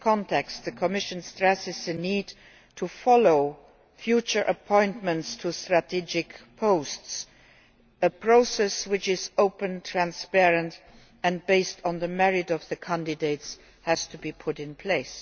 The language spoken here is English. In this context, the Commission stresses the need to follow future appointments to strategic posts a process which is open, transparent and based on the merits of the candidates has to be put in place.